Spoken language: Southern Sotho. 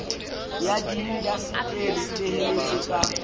ya diindaseteri e beheletse ka